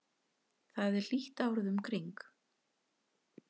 þar er hlýtt árið um kring